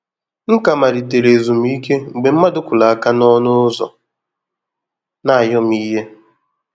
M ka malitere ezumike mgbe mmadụ kụrụ áká na ọnụ ụzọ na ayọmihe